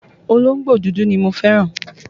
Olóńgbò dúdú ni mo fẹ́ràn.